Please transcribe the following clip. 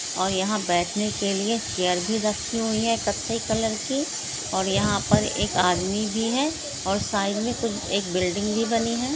ओर यहा बेठने के लिए चैर भी रखी हई है। कत्थई कलर की और यहा पर एक आदमी भी है। ओर साइड मे कुछ एक बिल्डिंग भी बनी है।